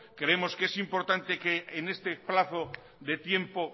creemos que es importante que en este plazo de tiempo